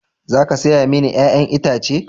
Za ka saya mini 'ya'yan itace?